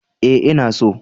Ee, ina so